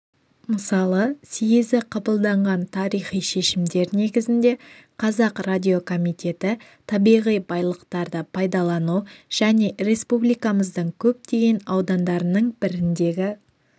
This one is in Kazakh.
мысалы съезі қабылдаған тарихи шешімдер негізінде қазақ радиокомитеті табиғи байлықтарды пайдалану және республикамыздың көптеген аудандарының біріндегі